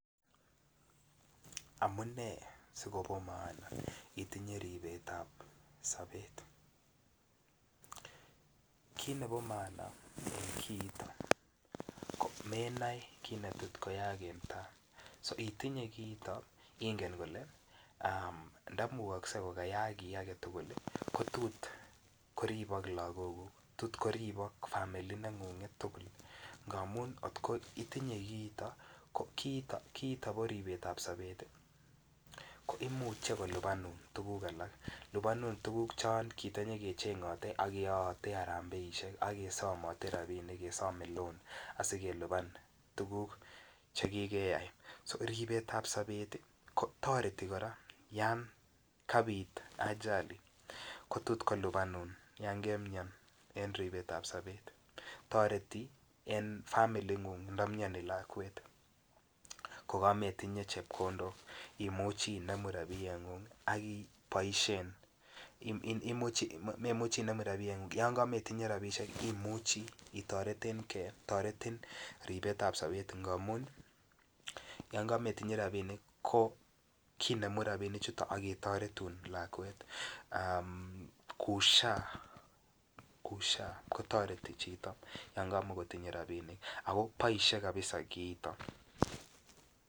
Amune sikopo maana itinye ripetab sapet kit nebo maana en kiito ko menoe kit netot koyaaak en tai itinye kiito ingen ile ndamukokse ko kayaak kit age tugul ko tot koribok lagoguk tot koribok familia nengunget tugul amun kiito bo ripetab sapet ko imuche kolipanun tuguk alak lipanun tuguk chon kitanyokechengote koyoote arambaesiek ak kesomote rabinik kesome loan asi kelipan tuguk Che ki keyai so ripetab sobet kotoreti kora yon kapit ajali ko tot kolipanun yon kemian en ribet ab sobet toreti en familingung nda miani lakwet ko kametinye chepkondok imuchi inemu rabiengung ak iboisien yon kametinye rabisiek imuchi ii toreten ge toretin ripetab sapet ngamun yon kametinye rabinik kinemu rabinichato ak ketoretun lakwet kou SHA ko toreti chito yon kamotinye rabinik ako boisie kabisa kiitok